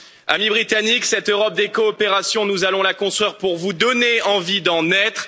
Amis britanniques, cette Europe des coopérations, nous allons la construire pour vous donner envie d'en être.